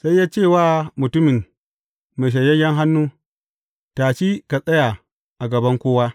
Sai ya ce wa mutumin mai shanyayyen hannun, Tashi ka tsaya a gaban kowa.